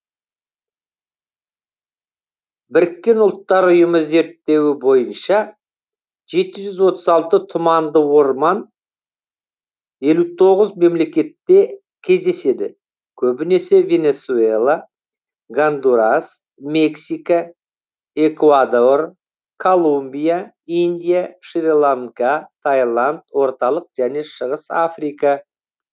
біріккен ұлттар ұйымының зерттеуі бойынша жеті жүз отыз алты тұманды орман елу тоғыз мемлекетте кездеседі көбінесе венесуэла гондурас мексика экуадор колумбия индия шри ланка тайланд орталық және шығыс африка